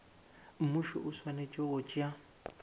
mmušo o swanetše go tšea